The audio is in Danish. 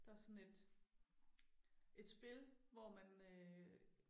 Der også sådan et et spil hvor man øh